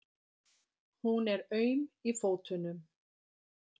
Hún er aum í fótunum.